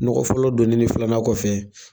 Nɔgɔ fɔlɔ donnin ni filanan tɛ.